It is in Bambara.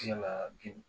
Yala joli